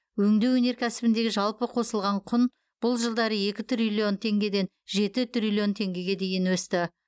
өңдеу өнеркәсібіндегі жалпы қосылған құн бұл жылдары екі триллион теңгеден жеті триллион теңгеге дейін өсті